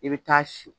I bɛ taa si